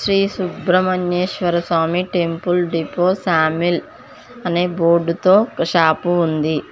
Shri Subrahmanyeswara Swamy temple depot saw mill అనే board తో ఒక షాపు ఉంది.